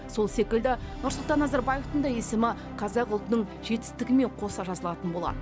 сол секілді нұрсұлтан назарбаевтың да есімі қазақ ұлтының жетістігімен қоса жазылатын болады